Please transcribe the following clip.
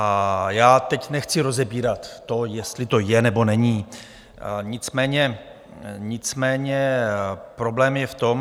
A já teď nechci rozebírat to, jestli to je, nebo není, nicméně problém je v tom...